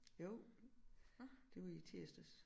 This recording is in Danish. Jo det var i tirsdags